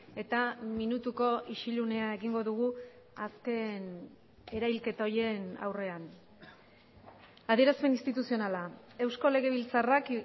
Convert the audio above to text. eta minutuko isilunea egingo dugu azken erahilketa horien aurrean adierazpen instituzionala eusko legebiltzarrak